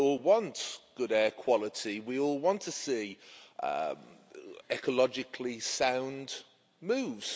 We all want good air quality. We all want to see ecologically sound moves.